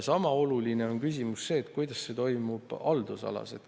Sama oluline on küsimus: kuidas see toimub haldusalas?